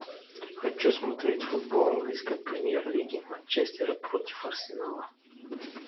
хочу смотреть футбол английской премьер лиги манчестер против арсенала